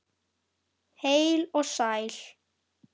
Heil og sæl.